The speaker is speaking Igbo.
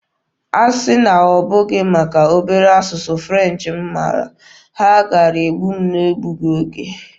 Asị na ọ bụghị maka obere asụsụ French m mara, ha kaara igbu m n'egbughị oge.